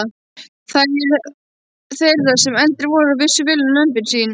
Þær þeirra sem eldri voru vissu vel um lömbin sín.